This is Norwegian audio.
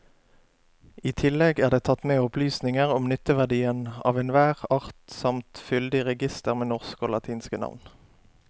I tillegg er det tatt med opplysninger om nytteverdien av enhver art samt fyldig reigister med norske og latinske navn.